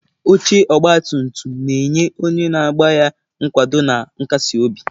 Oche ọgba tum tum na-enye onye na-agba ya nkwado na nkasi obi.